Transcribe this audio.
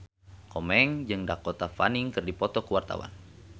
Komeng jeung Dakota Fanning keur dipoto ku wartawan